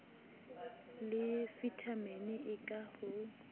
le vitamini e ka ho